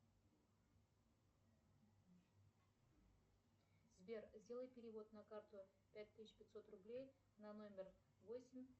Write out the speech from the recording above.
сбер сделай перевод на карту пять тысяч пятьсот рублей на номер восемь